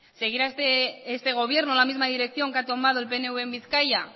seguirá este gobierno la misma dirección que ha tomado el pnv en bizkaia